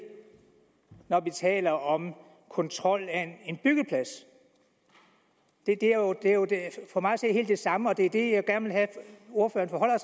når vi taler om kontrol af en byggeplads det er for mig at se helt det samme og det er det jeg gerne have ordføreren